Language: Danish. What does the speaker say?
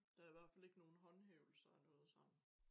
Der i hvert fald ikke nogen håndhævelser af noget sådan